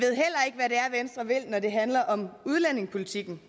hvad det handler om udlændingepolitikken